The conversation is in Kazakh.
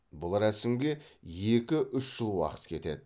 бұл рәсімге екі үш жыл уақыт кетеді